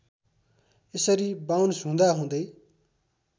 यसरी बाउन्स हुँदाहुँदै